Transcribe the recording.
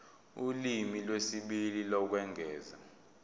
ulimi lwesibili lokwengeza